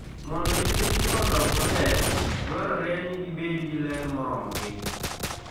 Mondo nyithindgi odong maber, dwarore ni gibed gi ler moromogi.